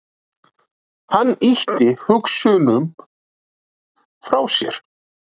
Hann ýtti hugsununum frá sér.